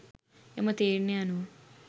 එම තීරණය අනුව